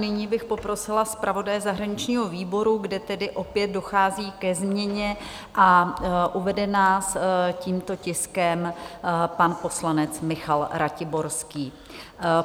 Nyní bych poprosila zpravodaje zahraničního výboru, kde tedy opět dochází ke změně, a uvede nás tímto tiskem pan poslanec Michal Ratiborský.